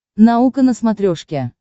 наука на смотрешке